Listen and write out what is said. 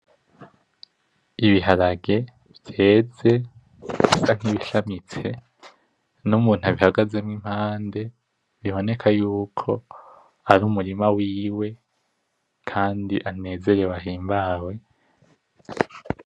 Ibiharage biteze bisa nkibishamitse, numuntu abihagazemo impande biboneka yuko ari umurima wiwe kandi anezerewe ahembawe.